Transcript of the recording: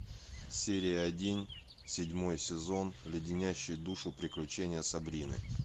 серия один седьмой сезон леденящие душу приключения сабрины